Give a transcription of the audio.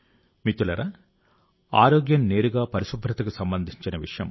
మిత్రులారా ఆరోగ్యం నేరుగా పరిశుభ్రతకు సంబంధించిన విషయం